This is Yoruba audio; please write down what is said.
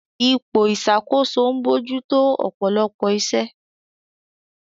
Ipò ìṣàkóso ń bójú tó ọ̀pọ̀lọpọ̀ iṣẹ́.